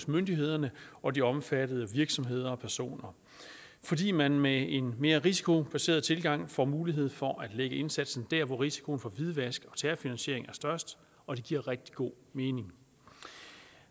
myndighederne og de omfattede virksomheder og personer fordi man med en mere risikobaseret tilgang får mulighed for at lægge indsatsen der hvor risikoen for hvidvask og terrorfinansiering er størst og det giver rigtig god mening